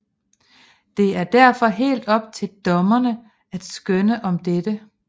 Det er derfor helt op til dommerne at skønne om dette